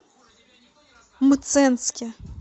мценске